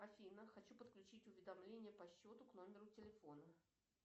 афина хочу подключить уведомления по счету к номеру телефона